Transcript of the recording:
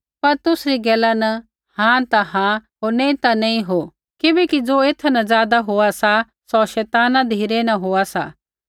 पर तुसरी गैला न हाँ ता हाँ होर नैंई ता नैंई हो किबैकि ज़ो एथा न ज़ादा होआ सा सौ शैताना धिरै न होआ सा